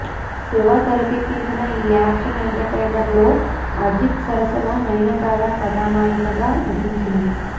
శివ తెరెకెక్కించిన ఈ action entertainer లో అజిత్ సరసన నయనతార కథానాయికగా నటించింది